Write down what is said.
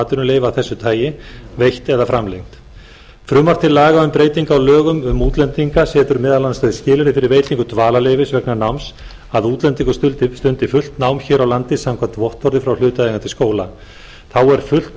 af þessu tagi veitt eða framlengt frumvarp til laga um breytingu á lögum um útlendinga setur meðal annars þau skilyrði fyrir veitingu dvalarleyfis vegna náms að útlendingur stundi fullt nám hér á landi samkvæmt vottorði frá hlutaðeigandi skóla þá er fullt